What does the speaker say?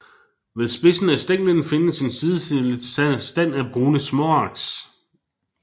Ved spidsen af stænglen findes en sidestillet stand af brune småaks